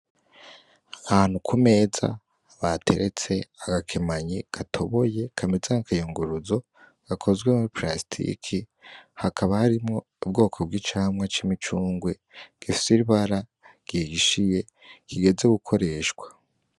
Ahantu ku meza bateretse agakemanyi gatoboye, kameze nk'akayunguruzo gakozwe muri palasitike, hakaba harimwo ubwoko bw'icamwa c'imicungwe gifise ibara gihishiye, kigeze gukoreshwa.